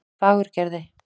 Fagurgerði